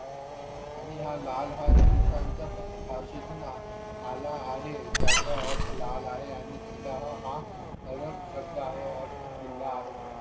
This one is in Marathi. आणि याला ला हिंदुस्थानच्या भाषेतून आला आहे ज्या चा अर्थ लावला आहे आणि किल्ला हा परम शब्द आहे. अर्थ किल्ला आहे.